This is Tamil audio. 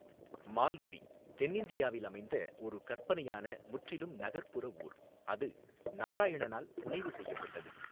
மால்குடி தென்னிந்தியாவில் அமைந்த ஒரு கற்பனையான, முற்றிலும் நகர்ப்புற ஊர், அது நாராயணனால் புனைவு செய்யப்பட்டது.